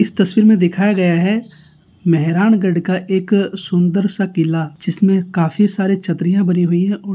इस तस्वीर दिखाया गया हैं मेहरानगढ़ का एक सुंदर सा किला जिसमे काफी सारे छत्रियाँ बनी हुई हैं और --